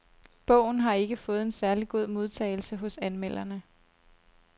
Bogen har ikke fået en særlig god modtagelse hos anmelderne.